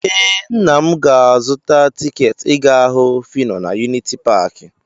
Ee, nna m ga-azụta tiketi ịga hụ Fino na yuniti paakị.